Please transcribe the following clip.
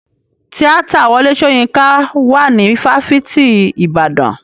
Tíátà Wọlé Soyinka wà ní fáfitì ìbàdàn.